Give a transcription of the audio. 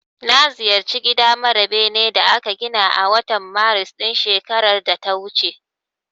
Na ziyarci gida mara benen da aka gina a watan Maris ɗin shekarar da ta wuce.